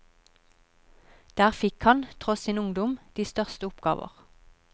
Der fikk han, tross sin ungdom, de største oppgaver.